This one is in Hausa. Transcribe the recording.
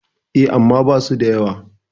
E, amma basu da yawa.